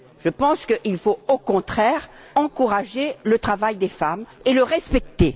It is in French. Je pense qu'il faut au contraire encourager le travail des femmes et le respecter.